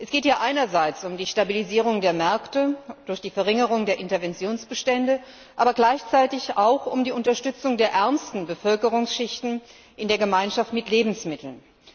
Es geht hier einerseits um die Stabilisierung der Märkte durch die Verringerung der Interventionsbestände, gleichzeitig aber auch um die Unterstützung der ärmsten Bevölkerungsschichten in der Gemeinschaft mit Lebensmitteln.